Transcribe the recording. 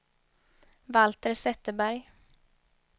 Valter Zetterberg